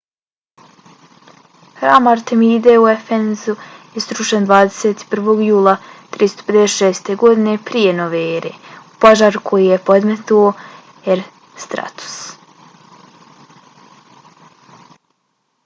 hram artemide u efezu je srušen 21. jula 356. godine p.n.e. u požaru koji je podmetnuo herostratus